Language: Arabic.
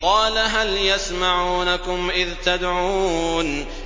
قَالَ هَلْ يَسْمَعُونَكُمْ إِذْ تَدْعُونَ